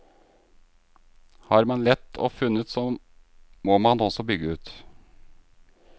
Har man lett og funnet så må man også bygge ut.